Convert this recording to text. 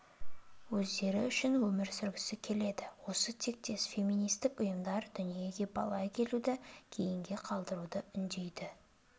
өздері үшін өмір сүргісі келеді осы тектес феминистік ұйымдар дүниеге бала әкелуді кейінгі қалдыруға үндейді